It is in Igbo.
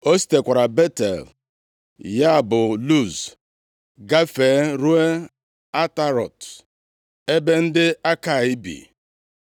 O sitekwara Betel (ya bụ Luz), gafee ruo Atarọt, ebe ndị Akai bi.